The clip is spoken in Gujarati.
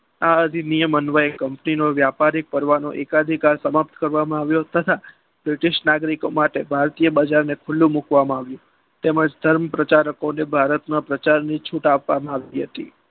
આ અધિનિયમ અન્વયે company નો વ્યાપાર કરવાનો એકાધિકાર સમાપ્ત કરવામાં આવ્યું તથા british નાગરિકો માટે ભારતીય બજારને ખુલ્લું મૂકવામાં આવ્યું. તેમાં તેમ જ ધર્મ પ્રચારકોને ભારતમાં પ્રચારની છૂટ આપવામાં આવી હતી.